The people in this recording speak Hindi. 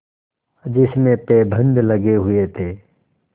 जिसमें पैबंद लगे हुए थे